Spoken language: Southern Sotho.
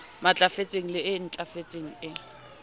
matlafetseng le e ntlafetseng e